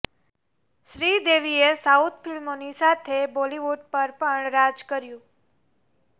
શ્રીદેવીએ south ફિલ્મોની સાથે બોલીવુડ પર પણ રાજ કર્યુ